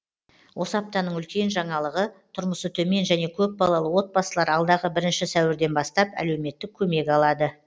осы аптаның үлкен жаңалығы тұрмысы төмен және көп балалы отбасылар алдағы бірінші сәуірден бастап әлеуметтік көмек алады